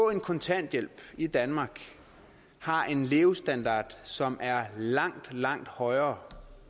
en kontanthjælp i danmark har en levestandard som er langt langt højere